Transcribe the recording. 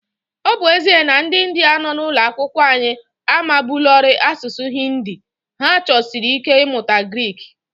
Ọ bụ ezie na ndị Indiya nọ n’ụlọ akwụkwọ anyị amabuolarị asụsụ Hindi, ha chọsiri ike ịmụta Grik.